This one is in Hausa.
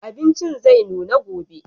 Abincin zai nuna gobe.